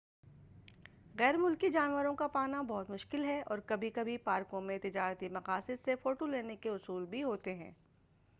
غیر ملکی جانوروں کا پانا بہت مشکل ہے اور کبھی کھی پارکوں میں تجارتی مقاصد سے فوٹو لینے کے اصول ہوتے ہیں